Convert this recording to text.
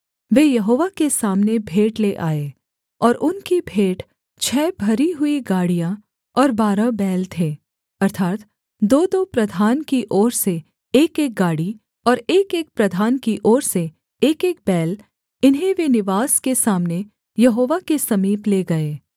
वे यहोवा के सामने भेंट ले आए और उनकी भेंट छः भरी हुई गाड़ियाँ और बारह बैल थे अर्थात् दोदो प्रधान की ओर से एकएक गाड़ी और एकएक प्रधान की ओर से एकएक बैल इन्हें वे निवास के सामने यहोवा के समीप ले गए